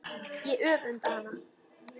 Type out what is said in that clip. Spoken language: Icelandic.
Ég öfunda hana.